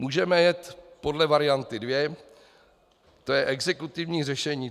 Můžeme jet podle varianty dvě, to je exekutivní řešení.